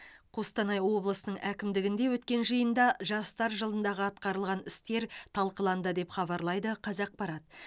қостанай облысының әкімдігінде өткен жиында жастар жылындағы атқарылған істер талқыланды деп хабарлайды қазақпарат